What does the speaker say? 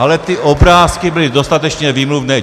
Ale ty obrázky byly dostatečně výmluvné.